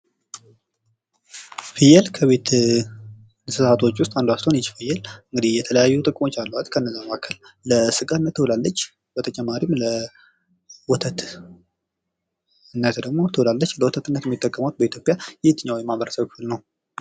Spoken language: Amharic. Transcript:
ፍየል ከቤት እንስሳቶች ውስጥ አንዷ ስትሆን ይቺ ፍየል እንግዲህ የተለያዩ ጥቅሞች አሏት ።ከዛም መካከል ለስጋ ትውላለች። ከዛም በተጨማሪ ለወተትነትም ትውላለች። ለወተትነት የሚጠቀማት በኢትዮጵያ የትኛው ማህበረሰብ ነው?